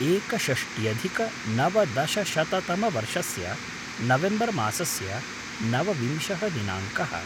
एकषष्ट्यधिक नवदशशततमवर्षस्य नवेम्बर् मासस्य नवविंशः दिनाङ्कः